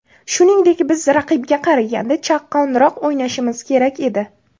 Shuningdek, biz raqibga qaraganda chaqqonroq o‘ynashimiz kerak edi.